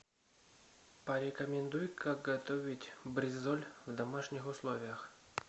порекомендуй как готовить бризоль в домашних условиях